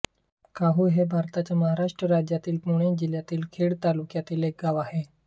काहू हे भारताच्या महाराष्ट्र राज्यातील पुणे जिल्ह्यातील खेड तालुक्यातील एक गाव आहे